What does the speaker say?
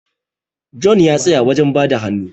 John ya tsaya wajen bada hannu